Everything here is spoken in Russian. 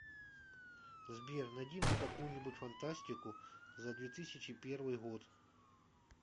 сбер найди мне какую нибудь фантастику за две тысячи первый год